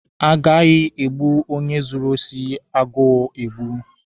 A gaghị egbu onye zuru osi agụọ egbu.